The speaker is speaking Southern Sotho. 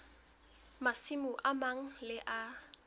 masimo a mang le a